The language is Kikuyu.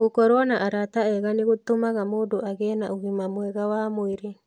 Gũkorũo na arata ega nĩ gũtũmaga mũndũ agĩe na ũgima mwega wa mwĩrĩ.